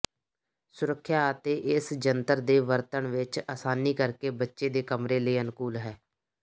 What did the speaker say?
ਸੁਰੱਖਿਆ ਅਤੇ ਇਸ ਜੰਤਰ ਦੇ ਵਰਤਣ ਵਿੱਚ ਆਸਾਨੀ ਕਰਕੇ ਬੱਚੇ ਦੇ ਕਮਰੇ ਲਈ ਅਨੁਕੂਲ ਹੈ